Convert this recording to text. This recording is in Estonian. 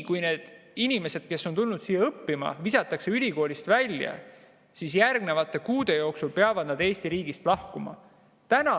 Kui need inimesed, kes on tulnud siia õppima, visatakse ülikoolist välja, peavad nad järgnevate kuude jooksul Eesti riigist lahkuma.